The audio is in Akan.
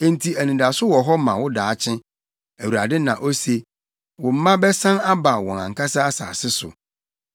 Enti anidaso wɔ hɔ ma wo daakye.” Awurade na ose. Wo mma bɛsan aba wɔn ankasa asase so.